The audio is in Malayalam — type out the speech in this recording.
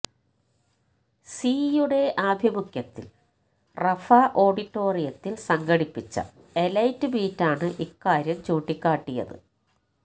സി യുടെ ആഭിമുഖ്യത്തിൽ റഫ ഓഡിറ്റോറിയത്തിൽ സംഘടിപ്പിച്ച എലൈറ്റ് മീറ്റാണ് ഇക്കാര്യം ചൂണ്ടിക്കാട്ടിയത്